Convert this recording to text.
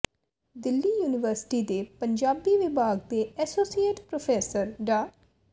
Delhi university ਦੇ ਪੰਜਾਬੀ ਵਿਭਾਗ ਦੇ ਐਸੋਸੀਏਟ ਪ੍ਰੋਫੈਸਰ ਡਾ